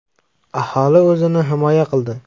Aholi o‘zini himoya qildi.